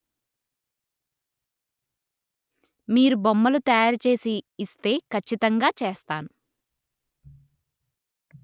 మీరు బొమ్మలు తయారుచేసి ఇస్తే ఖచ్చితంగా చేస్తాను